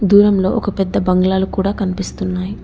దూరంలో ఒక పెద్ద బంగ్లాలు కూడా కనిపిస్తున్నాయ్.